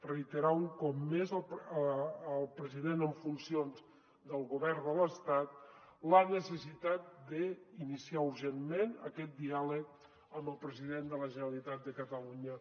reiterar un cop més al president en funcions del govern de l’estat la necessitat d’iniciar urgentment aquest diàleg amb el president de la generalitat de catalunya